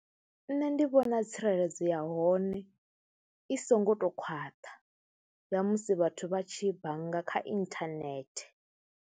Nṋe ndi vhona tsireledzo ya hone i songo tou khwaṱha ya musi vhathu vha tshi bannga kha inthanethe.